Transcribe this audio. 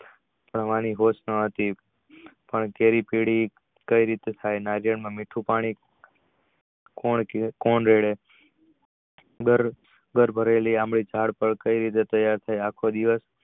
એની વાણી હતી પણ મીઠું પાણી કોણ રેડે ઝાડ પર કઈ રીતે ત્યાર થઈ